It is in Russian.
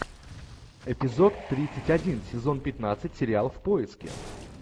эпизод тридцать один сезон пятнадцать сериал в поиске